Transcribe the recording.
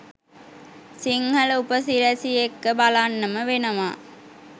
සිංහල උපසිරැස් එක්ක බලන්නම වෙනවා